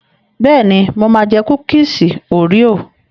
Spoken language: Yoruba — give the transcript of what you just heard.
Bẹ́ẹ̀ni, mo máa jẹ kúkúùsì óríò.